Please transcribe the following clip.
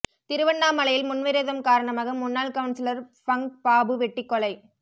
திருவண்ணாமலையில் முன்விரோதம் காரணமாக முன்னாள் கவுன்சிலர் ஃபங்க் பாபு வெட்டிக் கொலை